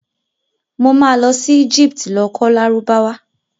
Mo ma lọ sí Egypt lọ kọ́ Lárúbáwá